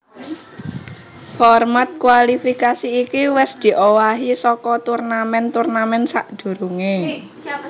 Format kwalifikasi iki wis diowahi saka turnamèn turnamèn sadurungé